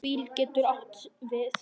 BÍL getur átt við